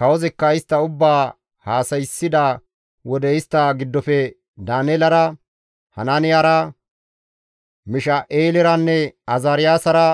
Kawozikka istta ubbaa haasayssida wode istta giddofe Daaneelara, Hanaaniyara, Misha7eeleranne Azaariyaasara